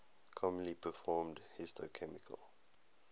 commonly performed histochemical